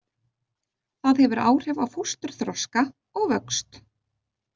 Það hefur áhrif á fósturþroska og vöxt.